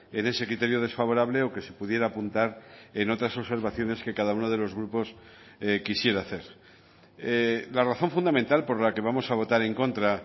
en ese criterio desfavorable o que se pudiera apuntar en otras observaciones que cada uno de los grupos quisiera hacer la razón fundamental por la que vamos a votar en contra